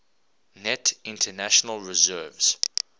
net international reserves